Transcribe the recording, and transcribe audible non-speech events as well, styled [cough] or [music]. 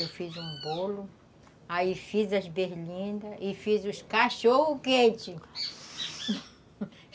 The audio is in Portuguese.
Eu fiz um bolo, aí fiz as berlindas e fiz os cachorro-quente [laughs]